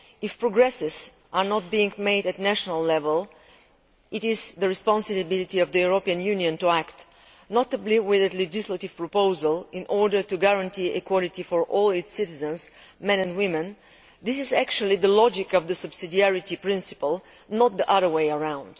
If progress is not being made at national level it is the responsibility of the European Union to act notably with a legislative proposal in order to guarantee equality for all its citizens men and women. This is actually the logic of the subsidiarity principle, not the other way around.